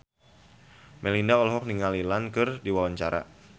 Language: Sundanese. Melinda olohok ningali Ian McKellen keur diwawancara